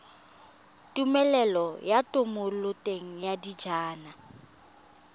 tumelelo ya thomeloteng ya dijalo